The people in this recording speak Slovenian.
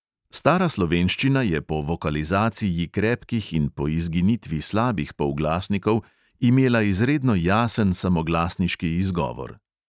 Stara slovenščina je po vokalizaciji krepkih in po izginitvi slabih polglasnikov imela izredno jasen samoglasniški izgovor.